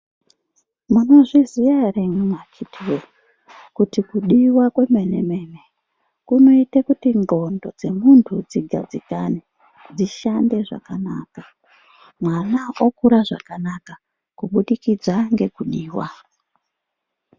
Munozviziya ere imwimwi akitiwee kuti kudiwa kwemene-mene kunoite kuti ndxondo dzemuntu dzigadzikane, dzishande zvakanaka. Mwana okura zvakanaka, kubudikidza ngekudiwa.